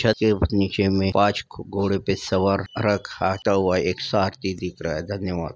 छत के नीचे में पांच घोड़े पे सवार रथ आता हुआ एक सारथी दिख रहा है धन्यवाद।